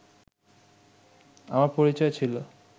আমার পরিচয় ছিল